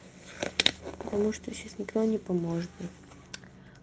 потому что сейчас никто не поможет мне